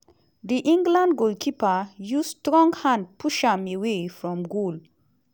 di england goalkeeper use strong hand push am away from goal.